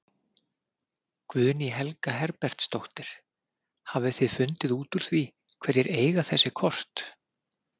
Guðný Helga Herbertsdóttir: Hafið þið fundið út úr því hverjir eiga þessi kort?